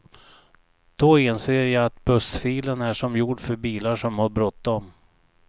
Då inser jag att bussfilen är som gjord för bilar som har bråttom.